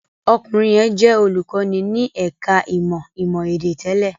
Ọkùnrin yẹn jẹ́ olùkọ́ní ní ẹ̀ka-ìmọ̀ ìmọ̀-èdè tẹ́lẹ̀.